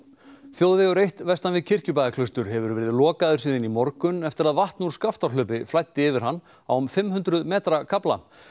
þjóðvegur eitt vestan við Kirkjubæjarklaustur hefur verið lokaður síðan í morgun eftir að vatn úr Skaftárhlaupi flæddi yfir hann á um fimm hundruð metra kafla